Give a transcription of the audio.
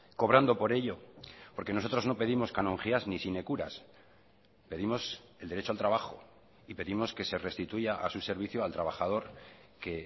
cobrando por ello porque nosotros no pedimos canonjías ni sine curas pedimos el derecho al trabajo y pedimos que se restituya a su servicio al trabajador que